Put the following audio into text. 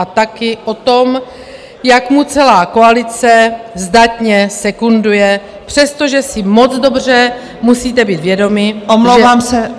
A taky o tom, jak mu celá koalice zdatně sekunduje, přestože si moc dobře musíte být vědomi -